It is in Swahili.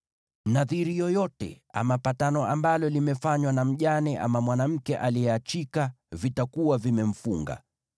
“Nadhiri yoyote ama patano ambalo limefanywa na mjane ama mwanamke aliyeachwa vitakuwa vimemfunga.